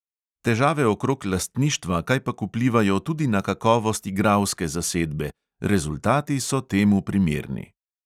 Težave okrog lastništva kajpak vplivajo tudi na kakovost igralske zasedbe, rezultati so temu primerni.